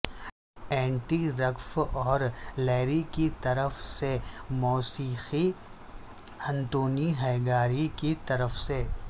anti رگف اور Larry کی طرف سے موسیقی انتونی ہیگاری کی طرف سے